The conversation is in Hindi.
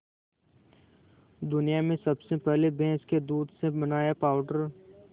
दुनिया में सबसे पहले भैंस के दूध से बनाया पावडर